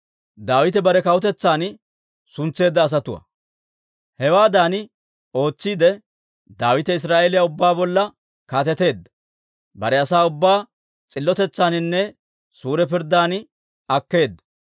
Hewaadan ootsiide, Daawite Israa'eeliyaa ubbaa bolla kaateteedda; bare asaa ubbaa s'illotetsaaninne suure pirddan akkeedda.